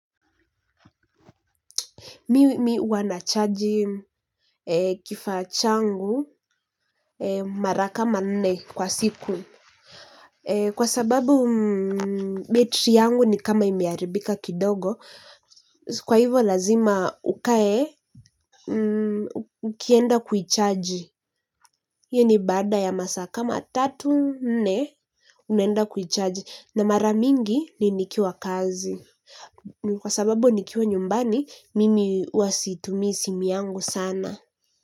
Mimi huwa nachaji kifaa changu mara kama nne kwa siku. Kwa sababu betri yangu ni kama imeharibika kidogo. Kwa hivyo lazima ukae, ukienda kuichaji. Hiyo ni baada ya masaa kama tatu, nne, unaenda kuichaji. Na mara mingi ni nikiwa kazi kwa sababu nikiwa nyumbani, mimi huwa situmii simu yangu sana.